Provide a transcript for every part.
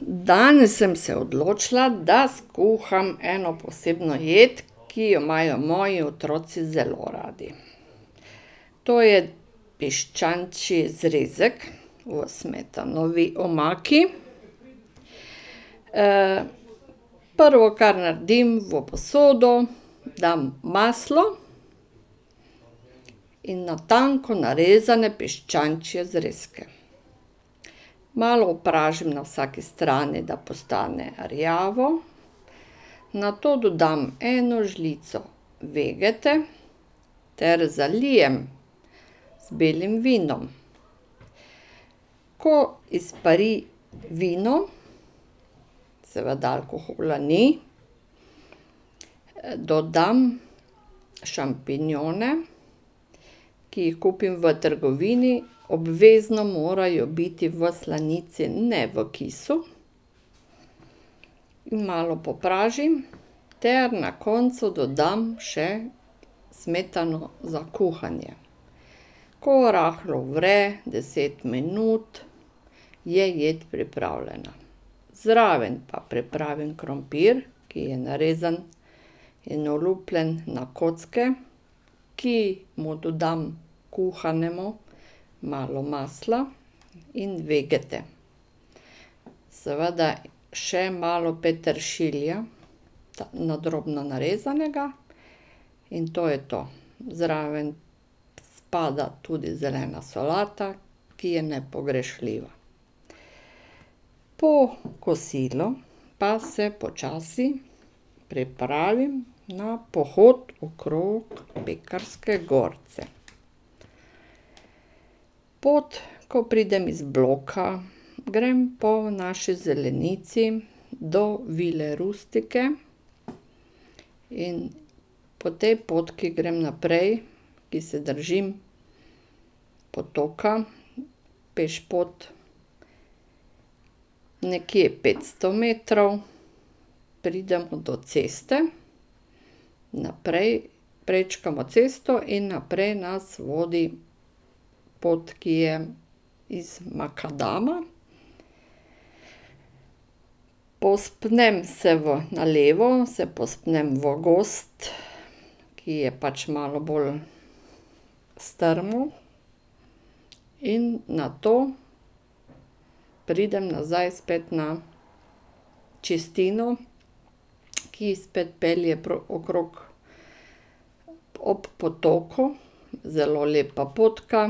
Danes sem se odločila, da skuham eno posebno jed, ki jo imajo moji otroci zelo radi. To je piščančji zrezek v smetanovi omaki. Prvo, kar naredim, v posodo dam maslo in na tanko narezane piščančje zrezke. Malo opražim na vsaki strani, da postane rjavo, nato dodam eno žlico vegete ter zalijem z belim vinom. Ko izpari vino, seveda alkohola ni, dodam šampinjone, ki jih kupim v trgovini, obvezno morajo biti v slanici, ne v kisu. In malo popražim ter na koncu dodam še smetano za kuhanje. Ko rahlo vre, deset minut, je jed pripravljena. Zraven pa pripravim krompir, ki je narezan in olupljen na kocke, ki mu dodam, kuhanemu, malo masla in vegete. Seveda še malo peteršilja, ta na drobno narezanega, in to je to. Zraven spada tudi zelena solata, ki je nepogrešljiva. Po kosilu pa se počasi pripravim na pohod okrog Pekrske gorce. Pot, ko pridem iz bloka, grem po naši zelenici do Vile Rustice in po tej potki grem naprej, ki se držim potoka. Pešpot, nekje petsto metrov, pridem do ceste. Naprej prečkamo cesto in naprej nas vodi pot, ki je iz makadama. Povzpnem se v, na levo, se povzpnem v gozd, ki je pač malo bolj strmo. In nato pridem nazaj spet na čistino, ki spet pelje okrog, ob potoku, zelo lepa potka.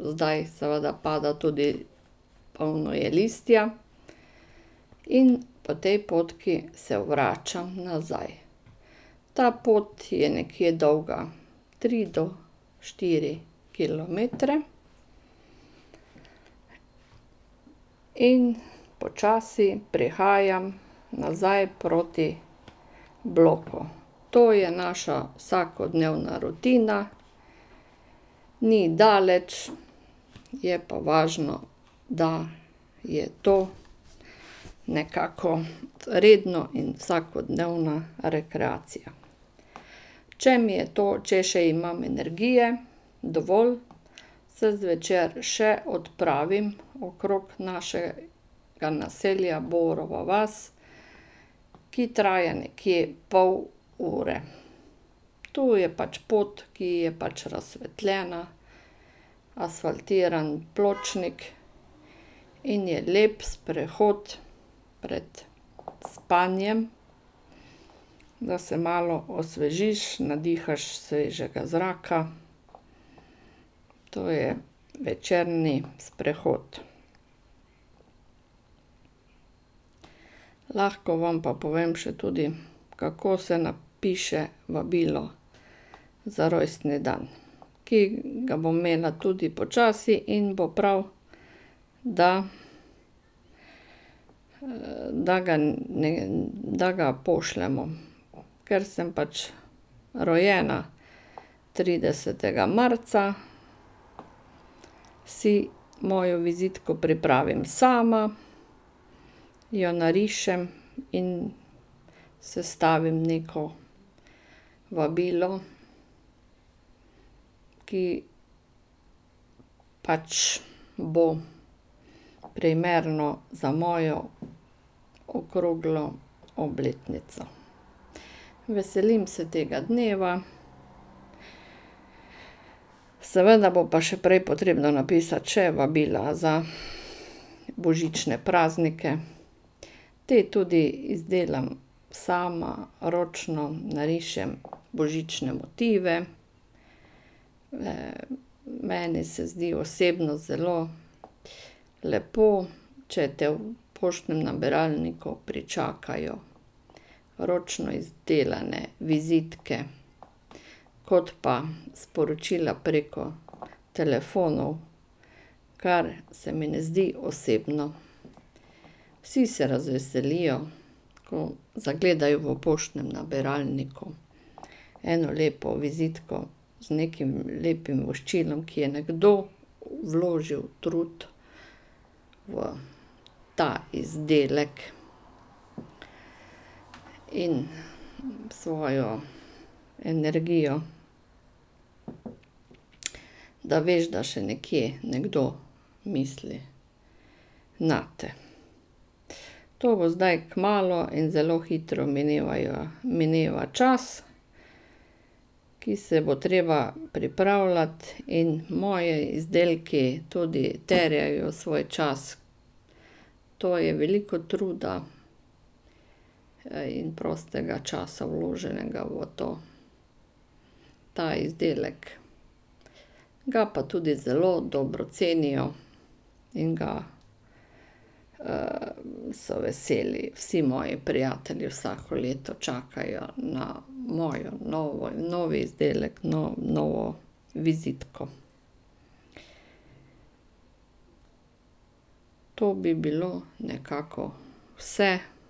Zdaj seveda pada tudi, polno je listja. In po tej potki se vračam nazaj. Ta pot je nekje dolga tri do štiri kilometre. In počasi prihajam nazaj proti bloku. To je naša vsakodnevna rutina, ni daleč, je pa važno, da je to nekako redno in vsakodnevna rekreacija. Če mi je to, če še imam energije dovolj, se zvečer še odpravim okrog naše- ga naselja, naselja Borova vas, ki traja nekje pol ure. Tu je pač pot, ki je pač razsvetljena, asfaltiran pločnik in je lep sprehod pred spanjem, da se malo osvežiš, nadihaš svežega zraka. To je večerni sprehod. Lahko vam pa povem še tudi, kako se napiše vabilo za rojstni dan, ki ga bom imela tudi počasi, in bo prav, da da ga ne, da ga pošljemo. Ker sem pač rojena tridesetega marca, si mojo vizitko pripravim sama, jo narišem in sestavim neko vabilo, ki pač bo primerno za mojo okroglo obletnico. Veselim se tega dneva. Seveda bo pa še prej potrebno napisati še vabila za božične praznike. Te tudi izdelam sama, ročno narišem božične motive. Meni se zdi osebno zelo lepo, če te v poštnem nabiralniku pričakajo ročno izdelane vizitke. Kot pa sporočila preko telefonov, kar se mi ne zdi osebno. Vsi se razveselijo, ko zagledajo v poštnem nabiralniku eno lepo vizitko z nekim lepim voščilom, ki je nekdo vložili trud v ta izdelek in svojo energijo. Da veš, da še nekje nekdo misli nate. To bo zdaj kmalu in zelo hitro minevajo, mineva čas, ki se bo treba pripravljati in moji izdelki tudi terjajo svoj čas. To je veliko truda in prostega časa vloženega v to, ta izdelek. Ga pa tudi zelo dobro cenijo in ga so veseli vsi moji prijatelji, vsako leto čakajo na mojo novo, novi izdelek, novo vizitko. To bi bilo nekako vse.